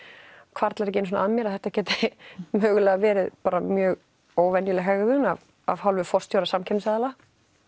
hvarflar ekki að mér að þetta gæti verið mjög óvenjuleg hegðun af af hálfu forstjóra samkeppnisaðila